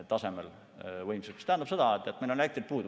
See tähendab, et meil on elektrit puudu.